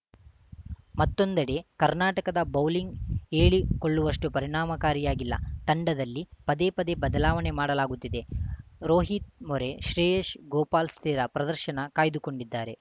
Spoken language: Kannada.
ಮತ್ತೊಂದೆಡೆ ಕರ್ನಾಟಕದ ಬೌಲಿಂಗ್‌ ಹೇಳಿಕೊಳ್ಳುವಷ್ಟುಪರಿಣಾಮಕಾರಿಯಾಗಿಲ್ಲ ತಂಡದಲ್ಲಿ ಪದೇ ಪದೇ ಬದಲಾವಣೆ ಮಾಡಲಾಗುತ್ತಿದೆ ರೋಹಿತ್‌ ಮೋರೆ ಶ್ರೇಯಶ್ ಗೋಪಾಲ್‌ ಸ್ಥಿರ ಪ್ರದರ್ಶನ ಕಾಯ್ದುಕೊಂಡಿದ್ದಾರೆ